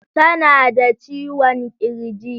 Tana da ciwon kirji.